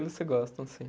Eles se gostam sim